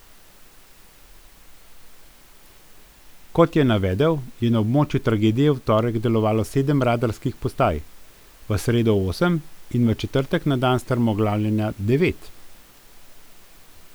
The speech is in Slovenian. Kot je navedel, je na območju tragedije v torek delovalo sedem radarskih postaj, v sredo osem in v četrtek, na dan strmoglavljenja, devet.